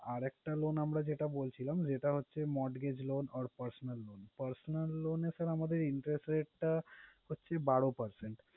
আর একটা loan আমরা যেটা বলছিলাম, যেটা হচ্ছে mortgage loan or personal loan । personal loan এ sir আমাদের interest rate টা হচ্ছে বারো percent ।